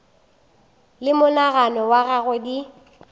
le monagano wa gagwe di